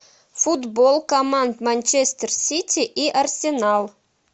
футбол команд манчестер сити и арсенал